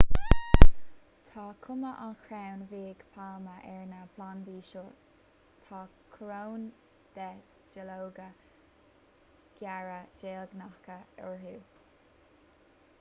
tá cuma an chrainn bhig pailme ar na plandaí seo tá coróin de dhuilleoga géara deilgneacha orthu